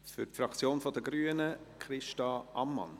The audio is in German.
Für die Fraktion der Grünen spricht Christa Ammann.